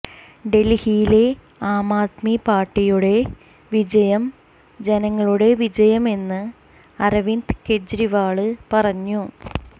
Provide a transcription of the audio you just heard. ഡല്ഹിയിലെ ആംആദ്മി പാര്ട്ടിയുടെ വിജയം ജനങ്ങളുടെ വിജയമെന്ന് അരവിന്ദ് കെജ്രിവാള് പറഞ്ഞു